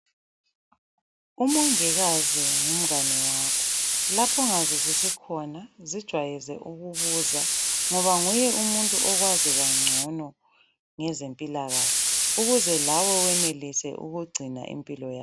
Umongikazi ngumngane wakho. Lapho ongazwisisi khona zijwayeze ukubuza ngoba nguye umuntu okwazi kangcono ngezempilakahle ukuze lawe wenelise ukugcina impilo ya